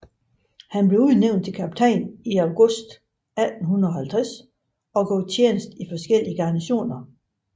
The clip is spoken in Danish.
Han blev udnævnt til kaptajn i august 1850 og gjorde tjeneste i forskellige garnisoner